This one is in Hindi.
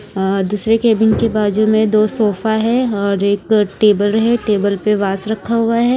आं दूसरे केबिन के बाजू में दो सोफा है और एक टेबल है टेबल पे वास रखा हुआ है।